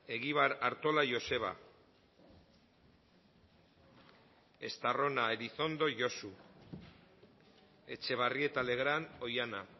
egibar artola joseba estarrona elizondo josu etxebarrieta legrand oihana